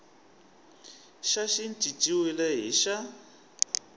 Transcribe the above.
xa xi cinciwile hi xa